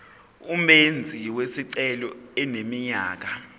umenzi wesicelo eneminyaka